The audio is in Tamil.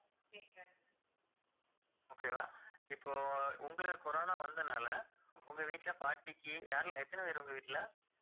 okay வா இப்போ உங்களுக்கு corona வந்ததுனால உங்க வீட்டுல பாட்டிக்கு யாரெல்லாம் எத்தனை பேர் உங்க வீட்டுல